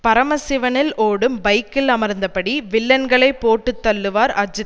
பரமசிவனில் ஓடும் பைக்கில் அமர்ந்தபடி வில்லன்களை போட்டு தள்ளுவார் அஜித்